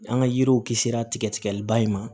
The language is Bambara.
An ka yiriw kisira tigɛ tigɛliba in ma